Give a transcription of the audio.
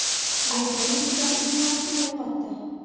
Behuda yumushlar uchun vaqtini yo‘qotdi.